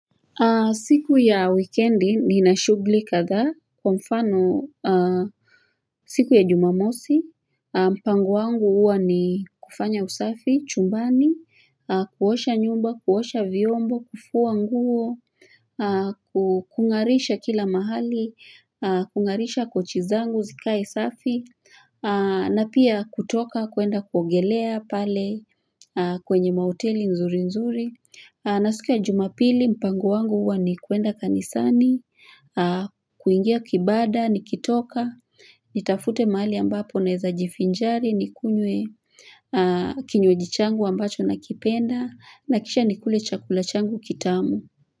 Siku ya wikendi nina shughuli kadha, kwa mfano siku ya jumamosi, mpango wangu huwa ni kufanya usafi, chumbani, kuosha nyumba, kuosha vyombo, kufua nguo, kungarisha kila mahali, kungarisha kochi zangu, zikae usafi, na pia kutoka kuenda kuongelea pale kwenye mahoteli nzuri nzuri. Na siku ya jumapili mpango wangu huwa ni kuenda kanisani, kuingia kibada, nikitoka, nitafute mahali ambapo naeza jivinjari, nikunywe kinywaji changu ambacho nakipenda, na kisha nikule chakula changu kitamu.